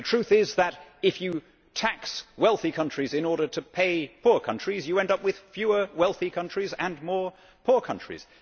The truth is that if you tax wealthy countries in order to pay poor countries, you end up with fewer wealthy countries and more poor countries.